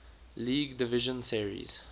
league division series